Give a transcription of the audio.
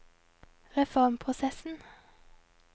reformprosessen